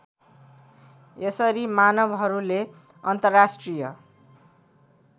यसरी मानवहरूले अन्तर्राष्ट्रिय